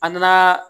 An nana